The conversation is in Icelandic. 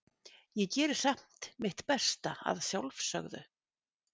Ég geri samt mitt besta, að sjálfsögðu.